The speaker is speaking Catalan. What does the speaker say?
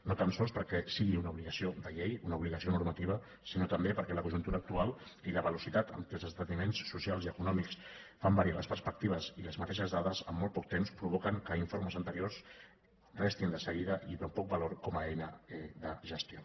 no tan sols perquè sigui una obligació de llei una obligació normativa sinó també perquè la conjuntura actual i la velocitat amb que els esdeveniments socials i econòmics fan variar les perspectives i les mateixes dades amb molt poc temps provoquen que informes anteriors restin de seguida amb poc valor com a eina de gestió